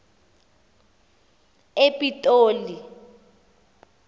epitoli